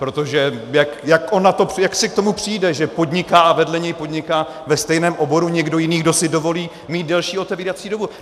Protože jak on k tomu přijde, že podniká, a vedle něj podniká ve stejném oboru někdo jiný, kdo si dovolí mít delší otevírací dobu?